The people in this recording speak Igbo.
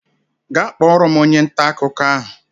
Gaa kpọrọ m onye nta akụkọ ahụ!